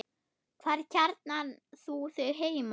Hvar kjarnar þú þig heima?